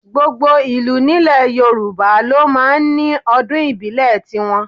Gbogbo ìlú ní ilẹ̀ Yorùbá ló máa ń ní ọdún ìbílẹ̀ tí wọn.